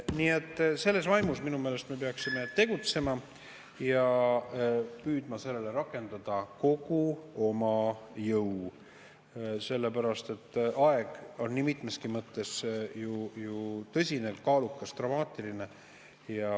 Nii et selles vaimus minu meelest me peaksime tegutsema ja püüdma sellele rakendada kogu oma jõu, sellepärast et aeg on nii mitmeski mõttes ju tõsine, kaalukas ja dramaatiline.